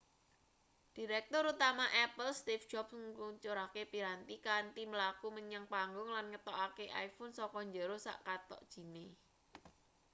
direktur utama apple steeve jobs ngluncurake piranti kanthi mlaku menyang panggung lan ngetokake iphone saka njero sak kathok jine